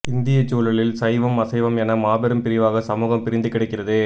இந்தியச் சூழலில் சைவம் அசைவம் என மாபெரும் பிரிவாக சமூகம் பிரிந்து கிடக்கிறது